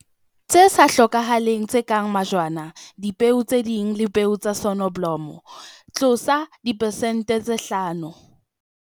Tse sa hlokahaleng, tse kang majwana, dipeo tse ding le peo tsa soneblomo - dipesente tse 5.